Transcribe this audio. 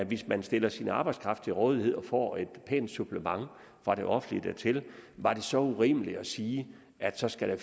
hvis man stiller sin arbejdskraft til rådighed og får et pænt supplement fra det offentlige dertil så var urimeligt at sige at så skal der